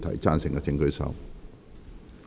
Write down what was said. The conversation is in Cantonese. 贊成的請舉手。